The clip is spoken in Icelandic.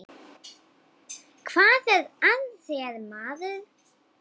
Hvað er að þér, maður?